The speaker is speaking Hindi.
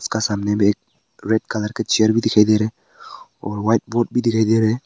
का सामने में एक रेड कलर के चेयर भी दिखाई दे रहे हैं और व्हाइट बोर्ड भी दिखाई दे रहे हैं।